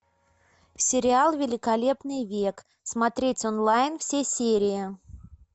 сериал великолепный век смотреть онлайн все серии